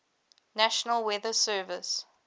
national weather service